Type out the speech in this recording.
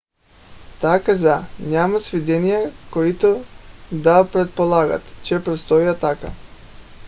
тя каза: няма сведения които да предполагат че предстои атака